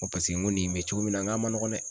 n ko nin be cogo min na n k'a ma nɔgɔn dɛ.